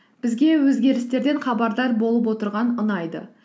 бізге өзгерістерден хабардар болып отырған ұнайды